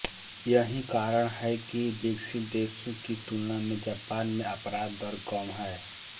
यही कारण है कि विकसित देशों की तुलना में जापान में अपराध दर कम है